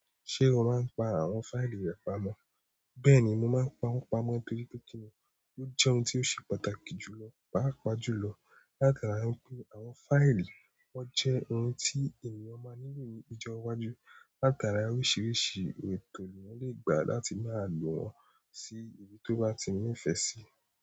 Ṣé o máa ń pa àwọn fáìlì rẹ pamọ́? Bẹ́ẹ̀ni, mo máa ń pawọn pamọ́ torí pé kíni ó jẹ́ ohun tí ó ṣe pàtàkì jùlọ, pàápàá jùlọ látara pé àwọn fáìlì wọ́n jẹ́ ohun tí ènìyàn máa nílò ní ọjọ́ iwájú, látara oríṣiríṣi ètò l'èèyàn lè gbà láti máa lò wọ́n sí ibi tó bá ti ní ìfẹ́ sí.